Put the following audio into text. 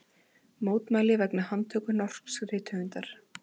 Mótmæli vegna handtöku norsks rithöfundar